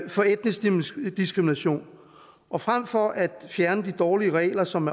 for etnisk diskrimination og frem for at fjerne de dårlige regler som